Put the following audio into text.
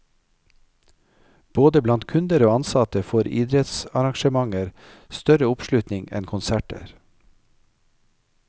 Både blant kunder og ansatte, får idrettsarrangementer større oppslutning enn konserter.